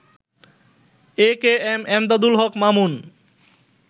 AKM Emdadul Haque Mamun